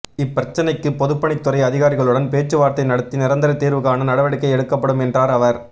இப்பிரச்னைக்கு பொதுப்பணித் துறை அதிகாரிகளுடன் பேச்சுவார்த்தை நடத்தி நிரந்தர தீர்வு காண நடவடிக்கை எடுக்கப்படும் என்றார் அவர்